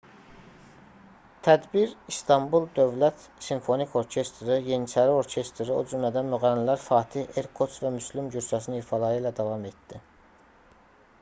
tədbir i̇stanbul dövlət simfonik orkestri yeniçəri orkestri o cümlədən müğənnilər fatih erkoç və müslüm gursəsin ifaları ilə davam etdi